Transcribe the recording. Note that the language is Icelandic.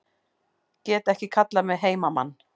Get ekki kallað mig heimamann